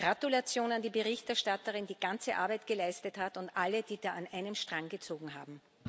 Gratulation an die Berichterstatterin, die ganze Arbeit geleistet hat und an alle, die da an einem Strang gezogen haben.